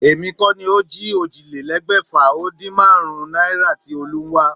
Èmi kó̩ ni ó jí ójìlélé̩gbè̩fà-o-din-márún-ún náírà tí Olú ń wá